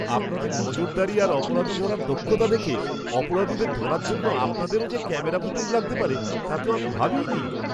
আপনাদের নজরদারি আর অপরাধী ধরার দক্ষতা দেখে, অপরাধীদের ধরার জন্য আপনাদেরও যে ক্যামেরা ফুটেজ লাগতে পারে, তা তো আমি ভাবিইনি!